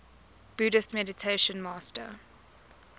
buddhist meditation master